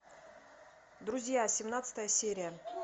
друзья семнадцатая серия